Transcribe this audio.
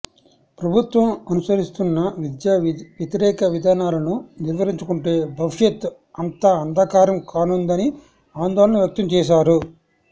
ప్రభుత్వం అనుసరిస్తున్న విద్యా వ్యతిరేక విధానాలను నిలువరించకుంటే భవిష్యత్ అంతా అంథకారం కానుందని ఆందోళన వ్యక్తం చేశారు